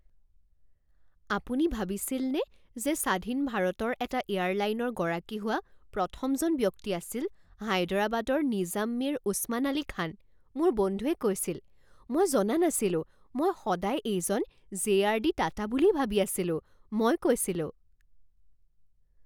আপুনি ভাবিছিলনে যে স্বাধীন ভাৰতৰ এটা এয়াৰলাইনৰ গৰাকী হোৱা প্ৰথমজন ব্যক্তি আছিল হায়দৰাবাদৰ নিজাম মিৰ ওছমান আলী খান?, মোৰ বন্ধুৱে কৈছিল। "মই জনা নাছিলোঁ। মই সদায় এইজন জে.আৰ.ডি. টাটা বুলিয়েই ভাবি আছিলোঁ", মই কৈছিলোঁ।